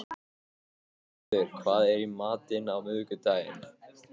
Arngarður, hvað er í matinn á miðvikudaginn?